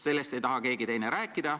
Sellest ei taha keegi rääkida.